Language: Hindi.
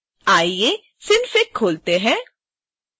आइए synfig खोलते हैं